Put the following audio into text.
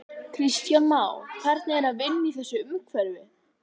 Kristján Már: Hvernig er að vinna í þessu umhverfi?